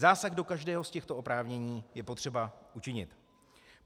Zásah do každého z těchto oprávnění je potřeba učinit.